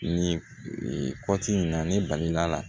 Ni kɔti in na ne balila